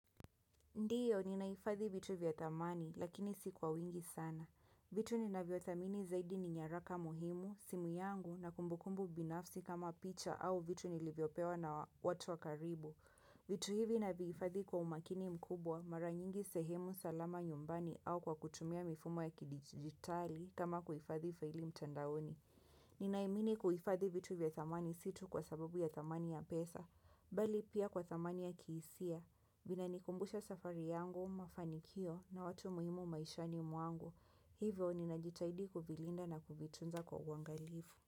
Ndiyo, ninaifadhi vitu vya tamani, lakini si kwa wingi sana. Vitu ninaviotamini zaidi ni nyaraka muhimu, simu yangu na kumbukumbu binafsi kama picha au vitu nilivyopewa na watu wakaribu. Vitu hivi ninaviifadhi kwa umakini mkubwa, mara nyingi sehemu salama nyumbani au kwa kutumia mifumo ya kidigitali kama kuifadhi faili mtandaoni. Ninaimini kuifadhi vitu vya tamani situ kwa sababu ya tamani ya pesa, bali pia kwa tamani ya kiisia. Vinanikumbusha safari yangu, mafanikio na watu muhimu maishani muangu. Hivyo ninajitaidi kuvilinda na kuvitunza kwa wangalivu.